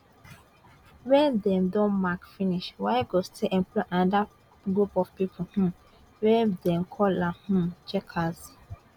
wen dem don mark finish waec go still employ anoda group of pipo um wey dem dey call um checkers